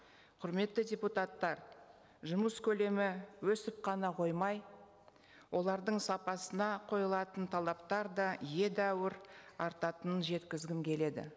құрметті депутаттар жұмыс көлемі өсіп қана қоймай олардың сапасына қойылатын талаптар да едәуір артатынын жеткізгім келеді